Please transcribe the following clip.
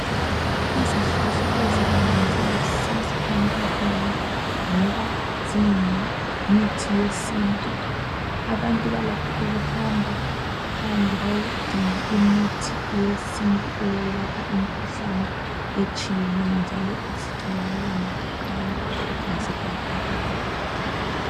Izihlahla ezinengi zilusizo empilweni ngoba ziyimithi yesintu abantu balakho ukuhamba phandle bayodinga imithi yesintu eyelapha imkhuhlane etshiyeneyo njalo zitholakala mahala